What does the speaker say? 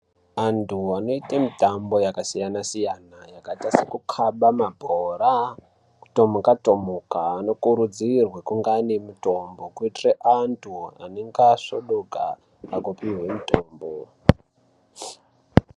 Antu anoite mitambo yakasiyana-siyana, yakaita sekukaba mabhora kutomhuka tomhuka. Anokurudzirwa kunga ane mutombo kuitira antu anenge asvodoka pakupihwe mutombo.